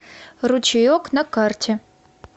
ручеек на карте